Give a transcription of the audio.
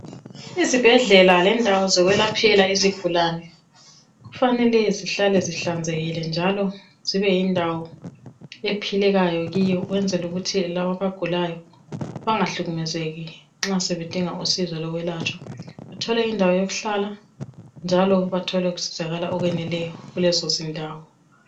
Izibhedlela lendawo zokwelaphela izigulane kufanele zihlale zihlanzekile njalo zibe yindawo ephilekayo kiyo ukwenzela ukuthi laba abagulayo bangahlukumezeki nxa sebedinga usizo lokwelatshwa. Bathole indawo yokuhlala njalo bathole usizakalo okweneleyo kulezo zindawo.